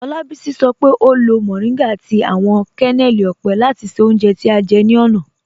Olabisi sọ pe o lo mọrìngá àti awọn kẹnẹlì ọ́pẹ́ láti ṣẹ́ ọ̀unje tí a jẹ́ ni ọ̀na.